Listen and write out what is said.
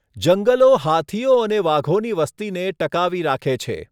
જંગલો હાથીઓ અને વાઘોની વસ્તીને ટકાવી રાખે છે.